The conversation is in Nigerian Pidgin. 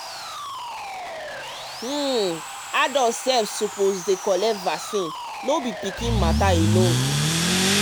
um adult sef suppose dey collect vaccine no be vaccine no be pikin matter alone.